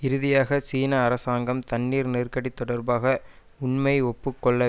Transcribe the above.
இறுதியாக சீன அரசாங்கம் தண்ணீர் நெருக்கடி தொடர்பாக உண்மையை ஒப்பு கொள்ள